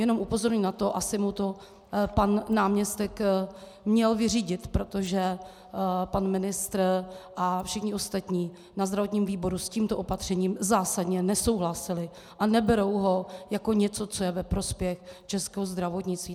Jenom upozorňuji na to, asi mu to pan náměstek měl vyřídit, protože pan ministr a všichni ostatní na zdravotním výboru s tímto opatřením zásadně nesouhlasili a neberou ho jako něco, co je ve prospěch českého zdravotnictví.